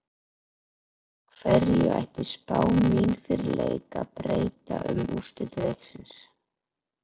Hverju ætti spá mín fyrir leik að breyta um úrslit leiksins?